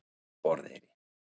Borðeyri